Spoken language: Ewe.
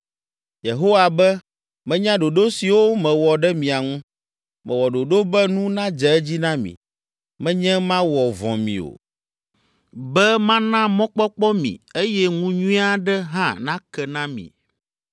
Yehowa be, menya ɖoɖo siwo mewɔ ɖe mia ŋu, mewɔ ɖoɖo be nu nadze edzi na mi, menye mawɔ vɔ̃ mi o, be mana mɔkpɔkpɔ mi eye ŋu nyui aɖe hã nake na mi.